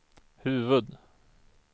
huvud